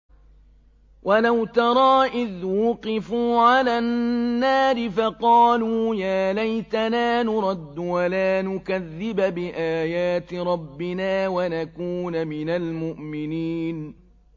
وَلَوْ تَرَىٰ إِذْ وُقِفُوا عَلَى النَّارِ فَقَالُوا يَا لَيْتَنَا نُرَدُّ وَلَا نُكَذِّبَ بِآيَاتِ رَبِّنَا وَنَكُونَ مِنَ الْمُؤْمِنِينَ